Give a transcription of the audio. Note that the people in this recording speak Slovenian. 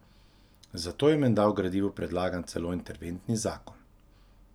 Zato je menda v gradivu predlagan celo interventni zakon.